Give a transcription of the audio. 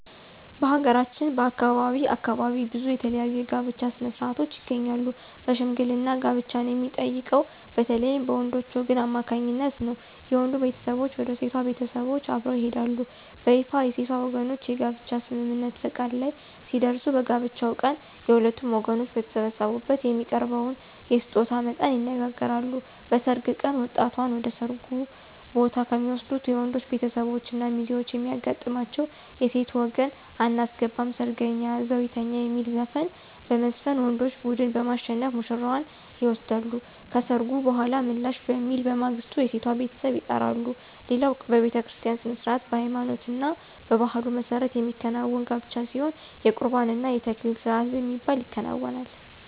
በሀገራችን ከአካባቢ አካባቢ ብዙ የተለያዩ የጋብቻ ሥነ-ሥርዓቶች ይገኛሉ በሽምግልና ጋብቻን የሚጠይቀው በተለይም በወንዶች ወገን አማካኝነት ነው። የወንዱ ቤተሰቦች ወደ ሴቷ ቤተሰቦች አብረው ይሄዳሉ። በይፋ የሴቷ ወገኖች የጋብቻ ስምምነት(ፈቃድ) ላይ ሲደርሱ በጋብቻው ቀን የሁለቱም ወገኖች በተሰበሰቡበት የሚያቀርበውን የስጦታ መጠን ይነጋገራሉ። በሰርግ ቀን ወጣቷን ወደ ሰርጉ ቦታ ከሚወስዱት የወንዶች ቤተሰቦች እና ሚዜዎች የሚያጋጥማቸው የሴት ወገን *አናስገባም ሰርገኛ እዛው ይተኛ* የሚል ዘፈን በመዝፈን ወንዶች ቡድን በማሸነፍ ውሽራዋን ይወስዳሉ። ከሰርጉ በኃላ ምላሽ በሚል በማግስቱ የሴቷ ቤተሰብ ይጠራሉ። ሌላው በቤተክርስቲያ ሥነ-ሥርዓት በሃይማኖትና በባህሉ መሠረት የሚከናወን ጋብቻ ሲሆን የቁርባን እና የተክሊል ስርአት በሚባል ይከናወናል።